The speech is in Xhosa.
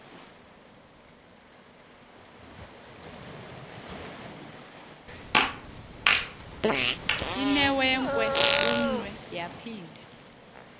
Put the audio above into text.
inewenkwe umnwe yaphinda